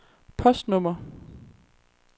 postnummer